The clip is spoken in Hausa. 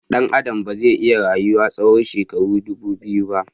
Dan Adam ba zai iya rayuwa tsawon shekaru ɗubu biyu ba